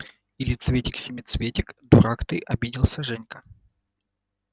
или цветик-семицветик дурак ты обиделся женька